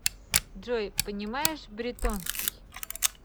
джой понимаешь бретонский